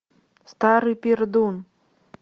старый пердун